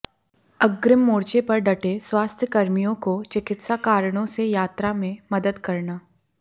अग्रिम मोर्चे पर डटे स्वास्थ्यकर्मियों को चिकित्सा कारणों से यात्रा में मदद करना